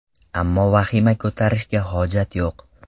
Ammo vahima ko‘tarishga hojat yo‘q.